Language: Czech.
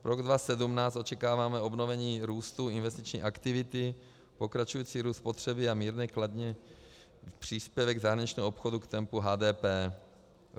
Rok 2017, očekáváme obnovení růstu investiční aktivity, pokračující růst spotřeby a mírně kladný příspěvek zahraničního obchodu k tempu HDP.